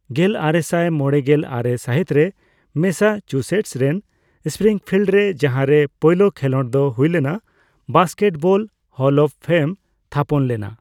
ᱜᱮᱞᱟᱨᱮᱥᱟᱭ ᱢᱚᱲᱮᱜᱮᱞ ᱟᱨᱮ ᱥᱟᱹᱦᱤᱛᱨᱮ ᱢᱮᱹᱥᱟᱪᱩᱥᱮᱴᱥ ᱨᱮᱱ ᱥᱯᱨᱤᱝᱯᱷᱤᱞᱰ ᱨᱮ, ᱡᱟᱦᱟᱸᱨᱮ ᱯᱳᱭᱞᱳ ᱠᱷᱮᱞᱳᱰ ᱫᱚ ᱦᱩᱭᱞᱮᱱᱟ, ᱵᱟᱥᱠᱮᱴᱵᱚᱞ ᱦᱚᱞ ᱚᱯᱷ ᱯᱷᱮᱢ ᱛᱷᱟᱯᱚᱱ ᱞᱮᱱᱟ ᱾